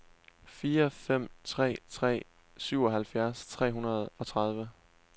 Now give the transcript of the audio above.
fire fem tre tre syvoghalvfjerds tre hundrede og tredive